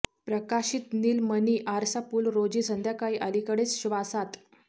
प्रकाशित नीलमणी आरसा पूल रोजी संध्याकाळी अलीकडेच श्वासात